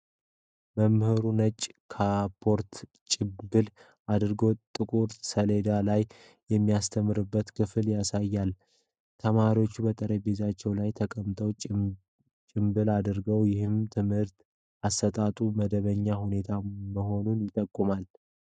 መምህሩ ነጭ ካፖርትና ጭምብል አድርጎ ጥቁር ሰሌዳ ላይ የሚያስተምርበትን ክፍል ያሳያል። ተማሪዎቹ በጠረጴዛዎቻቸው ላይ ተቀምጠው ጭምብል አድርገዋል፤ ይህም የትምህርት አሰጣጡ መደበኛ ሁኔታ መሆኑን አይጠቁም?